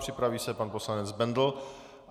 Připraví se pan poslanec Bendl.